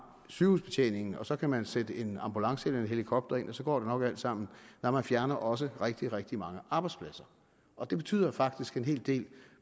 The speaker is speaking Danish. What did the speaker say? sygehusbetjeningen og så kan man sætte en ambulance eller en helikopter ind og så går det nok alt sammen nej man fjerner også rigtig rigtig mange arbejdspladser og det betyder faktisk en hel del